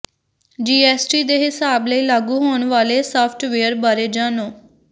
GST ਦੇ ਹਿਸਾਬ ਲਈ ਲਾਗੂ ਹੋਣ ਵਾਲੇ ਸਾਫ਼ਟਵੇਅਰ ਬਾਰੇ ਜਾਣੋ